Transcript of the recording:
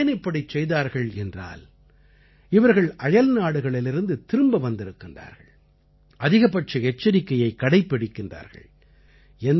இவர்கள் ஏன் இப்படிச் செய்தார்கள் என்றால் இவர்கள் அயல்நாடுகளிலிருந்து திரும்பி வந்திருக்கிறார்கள் அதிகபட்ச எச்சரிக்கையை கடைப்பிடிக்கிறார்கள்